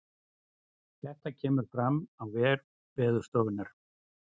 Þetta kemur fram á vef veðurstofunnar